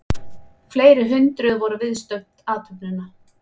Fleiri hundruð voru viðstödd athöfnina